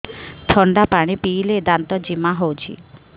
ଥଣ୍ଡା ପାଣି ପିଇଲେ ଦାନ୍ତ ଜିମା ହଉଚି